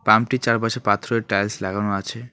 পাম্পটির চারপাশে পাথরের টাইলস লাগানো আছে।